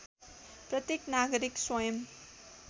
प्रत्येक नागरिक स्वयं